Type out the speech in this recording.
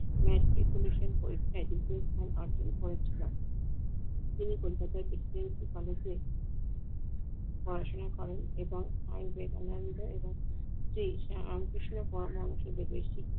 metropolitan পরীক্ষায় দ্বিতীয় স্থান অর্জন করেছিল। তিনি কলকাতা থেকে ওকালতি পড়াশোনা করেন এবং এবং সে